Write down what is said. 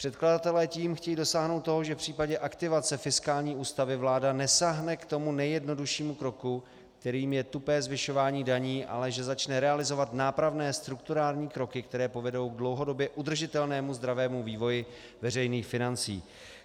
Předkladatelé tím chtějí dosáhnout toho, že v případě aktivace fiskální ústavy vláda nesáhne k tomu nejjednoduššímu kroku, kterým je tupé zvyšování daní, ale že začne realizovat nápravné strukturální kroky, které povedou k dlouhodobě udržitelnému zdravému vývoji veřejných financí.